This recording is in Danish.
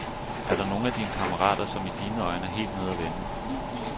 Er der nogle af dine kammerater, som i dine øjne er helt nede og vende.